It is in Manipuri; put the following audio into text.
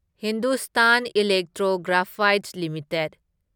Hindustan electro graphites limited